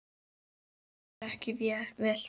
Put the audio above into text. Líður ekki vel.